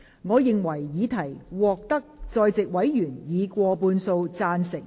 我認為議題獲得在席委員以過半數贊成。